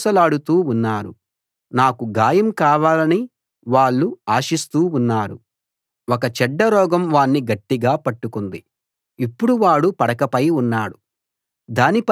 నన్ను ద్వేషించే వాళ్ళంతా చేరి నాకు వ్యతిరేకంగా గుసగుసలాడుతూ ఉన్నారు నాకు గాయం కావాలని వాళ్ళు ఆశిస్తూ ఉన్నారు